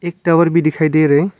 एक टावर भी दिखाई दे रहे हैं।